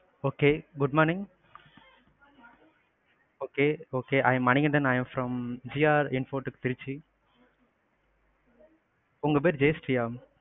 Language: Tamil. okay, good morning okay okay, I am Manikandan, I am from GRN Trichy. உங்க பெயரு ஜெய ஸ்ரீ யா?